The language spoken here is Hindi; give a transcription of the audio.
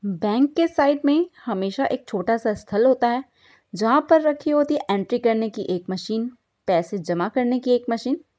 बैंक के साइड में हमेशा एक छोटा सा स्थल होता है जहां पर रखी होती है एंट्री करने की एक मशीन पैसे जमा करने की एक मशीन ।